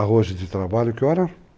Arroja de trabalho, que horas?